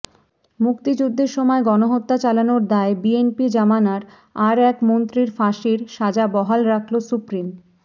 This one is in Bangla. মুক্তিযুদ্ধের সময় গণহত্যা চালানোর দায়ে বিএনপি জমানার আর এক মন্ত্রীর ফাঁসির সাজা বহাল রাখল সুপ্রিম